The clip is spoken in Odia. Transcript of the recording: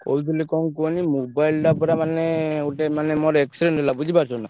କହୁଥିଲି କଣ କୁହନି mobile ଟା ପୁରା ମାନେ ଗୋଟେ ମାନେ accident ହେଲା ବୁଝି ପାରୁଛ ନା।